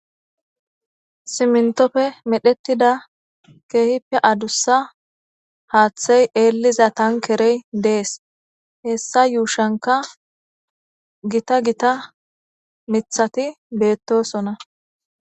Simintopfe medhettida keehippe adussa haaththey eelliza tankerey dees hessa yuushanka gita gita mithati beettosona